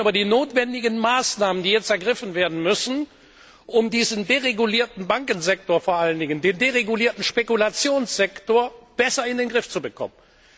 Wir reden über die notwendigen Maßnahmen, die jetzt ergriffen werden müssen, um diesen deregulierten Bankensektor, vor allen Dingen den deregulierten Spekulationssektor, besser in den Griff zu bekommen.